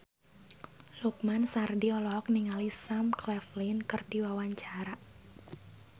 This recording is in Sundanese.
Lukman Sardi olohok ningali Sam Claflin keur diwawancara